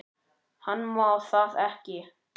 Hann má það ekki.